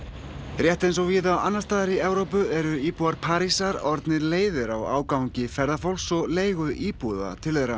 rétt eins og víða annars staðar í Evrópu eru íbúar Parísar orðnir leiðir á ágangi ferðafólks og leigu íbúða til þeirra